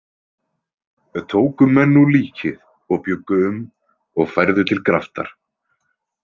Tóku menn nú líkið og bjuggu um og færðu til graftar.